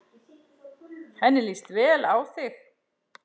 Henni líst vel á þig.